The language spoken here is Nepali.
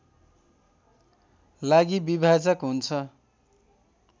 लागि विभाजक हुन्छ